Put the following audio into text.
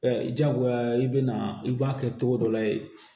jagoya i bɛna i b'a kɛ cogo dɔ la yen